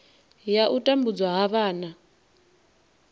ya u tambudzwa ha vhana